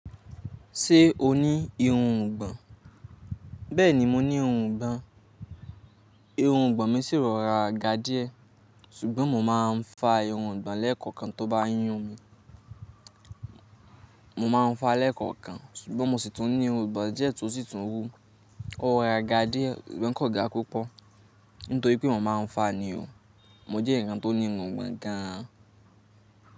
Ṣé o ní irun'gbọ̀n? Bẹ́ẹ̀ni, mo ní irungbọ̀n. Irungbọ̀n mi sì rọra ga díẹ̀, ṣùgbọ́n mo máa ń fa irungbọ̀n lẹ́ẹ̀kọ̀kan tó bá n yún mi. Mo máa ń fa lẹ́ẹ̀kọ̀kan, ṣùgbọ́n mo sì tún ní irun'gbọ̀n díẹ̀ tó sì tún wú. Ó rọra ga díẹ̀, sugbon kọ̀ ga púpọ̀. Nítorí pé mo máa ń fa ni o. Mo jẹ́ ẹyankan tó ní irun ọ̀gbọ̀n gan an.